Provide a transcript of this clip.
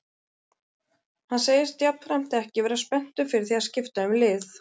Hann segist jafnframt ekki vera spenntur fyrir því að skipta um lið.